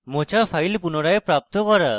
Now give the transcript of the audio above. মোছা file পুনরায় প্রাপ্ত করা